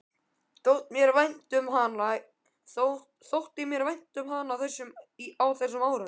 Þótti mér vænt um hana á þessum árum?